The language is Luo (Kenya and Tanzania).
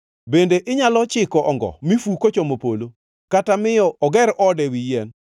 Bende inyalo chiko ongo mi fu kochomo polo, kata miyo oger ode ewi yien?